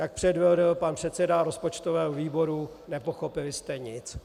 Jak předvedl pan předseda rozpočtového výboru, nepochopili jste nic.